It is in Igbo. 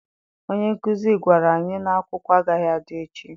Onye nkụzi gwara anyị na akwụkwọ agaghị adị echi.